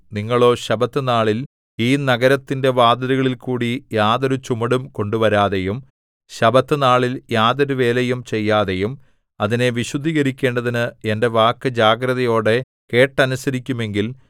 നിങ്ങളോ ശബ്ബത്തുനാളിൽ ഈ നഗരത്തിന്റെ വാതിലുകളിൽകൂടി യാതൊരു ചുമടും കൊണ്ടുവരാതെയും ശബ്ബത്തുനാളിൽ യാതൊരുവേലയും ചെയ്യാതെയും അതിനെ വിശുദ്ധീകരിക്കേണ്ടതിന് എന്റെ വാക്കു ജാഗ്രതയോടെ കേട്ടനുസരിക്കുമെങ്കിൽ